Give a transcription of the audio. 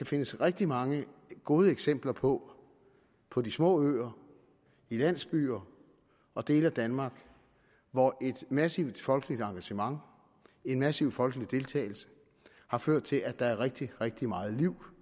findes rigtig mange gode eksempler på på små øer landsbyer og dele af danmark hvor et massivt folkeligt engagement og en massiv folkelig deltagelse har ført til at der er rigtig rigtig meget liv